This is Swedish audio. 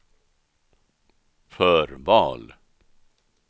förval